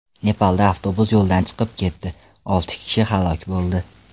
Nepalda avtobus yo‘ldan chiqib ketdi, olti kishi halok bo‘ldi.